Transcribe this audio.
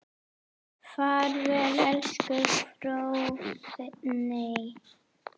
Far vel elsku Fróðný.